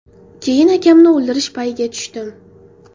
Keyin akamni o‘ldirish payiga tushdim.